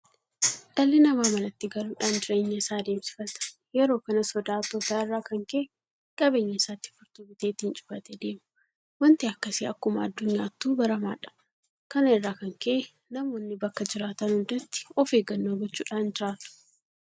Dhalli namaa manatti galuudhaan jireenya isaa adeemsifata. Yeroo kana sodaa hattootaa irraa kan ka'e qabeenya isaatti Furtuu bitee ittiin cufatee deema. Waanti akkasii akkuma addunyaattuu baramaadha. Kana irraa kan ka'e namoonni bakka jiraatan hundatti ofeeggannoo gochuudhaan jiraatu.